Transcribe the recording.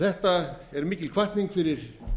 þetta er mikil hvatning fyrir